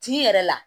T'i yɛrɛ la